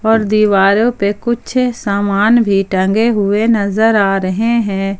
और दीवारो पे कुछ सामान भी टंगे हुए नजर आ रहे है।